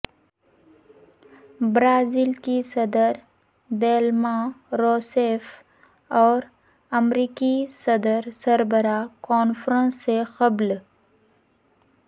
Brazil کی صدر Dilma Rousseff اور امریکی صدر سربراہ کانفرنس سے قبل